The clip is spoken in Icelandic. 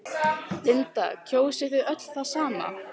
Linda: Kjósið þið öll það sama?